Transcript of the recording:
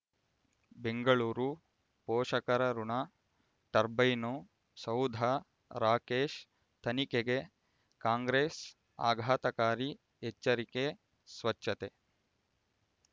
ಬೆಂಗಳೂರು ಪೋಷಕರಋಣ ಟರ್ಬೈನು ಸೌಧ ರಾಕೇಶ್ ತನಿಖೆಗೆ ಕಾಂಗ್ರೆಸ್ ಆಘಾತಕಾರಿ ಎಚ್ಚರಿಕೆ ಸ್ವಚ್ಛತೆ